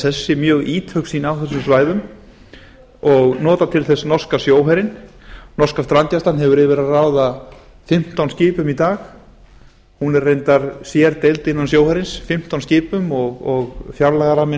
í sessi mjög ítök sín á þessum svæðum og nota til þess norska sjóherinn norska strandgæslan hefur yfir að ráða fimmtán skipum í dag hún er reyndar sérdeild innan sjóhersins fimmtán skipum og fjárlagaramminn á